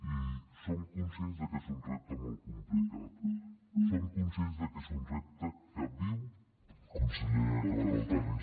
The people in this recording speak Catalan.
i som conscients de que és un repte molt complicat som conscients de que és un repte que viuen tots els territoris